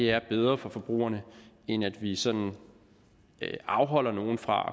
er bedre for forbrugerne end at vi sådan afholder nogle fra